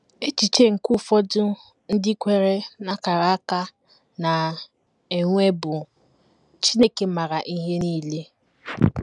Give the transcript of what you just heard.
Echiche nke ụfọdụ ndị kweere n’akara aka na - enwe bụ: Chineke maara ihe nile.